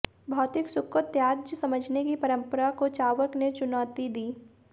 भौतिक सुख को त्याज्य समझने की परंपरा को चार्वाक ने चुनौती दी